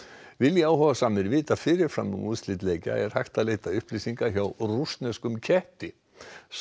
vilji áhugasamir vita fyrir fram um úrslit leikja er hægt að leita upplýsinga hjá rússneskum ketti sá